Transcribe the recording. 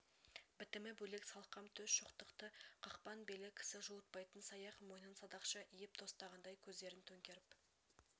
бітімі бөлек салқам төс шоқтықты қақпан белі кісі жуытпайтын саяқ мойнын садақша иіп тостағандай көздерн төңкеріп